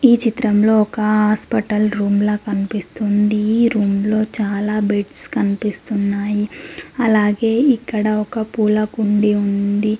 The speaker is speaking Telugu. ఈ చిత్రంలో ఒక హాస్పెటల్ రూమ్ ల కనిపిస్తుంది ఈ రూమ్ లో చాలా బెడ్స్ కనిపిస్తున్నాయి అలాగే ఇక్కడ ఒక పూల కుండి ఉంది.